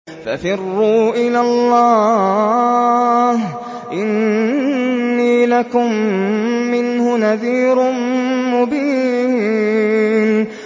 فَفِرُّوا إِلَى اللَّهِ ۖ إِنِّي لَكُم مِّنْهُ نَذِيرٌ مُّبِينٌ